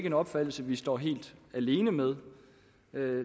en opfattelse vi står helt alene med